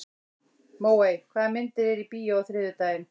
Móey, hvaða myndir eru í bíó á þriðjudaginn?